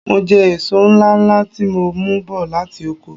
Mo jẹ èso ńláńlá tí mo mú bọ̀ láti oko.